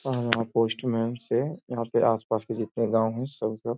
Postman से। यहाँ के आस पास के जितने गाँव हैं सब कर --